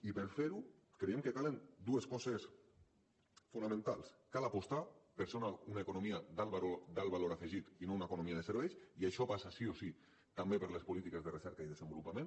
i per fer ho creiem que calen dues coses fonamentals cal apostar per ser una economia d’alt valor afegit i no una economia de serveis i això passa sí o sí també per les polítiques de recerca i desenvolupament